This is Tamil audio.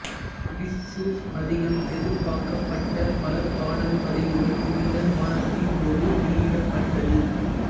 இஷ்ஷூஸ் அதிகம் எதிர்பாக்கப்பட்ட பல பாடல் பதிவுகள் இருந்த வாரத்தின்போது வெளியிடப்பட்டது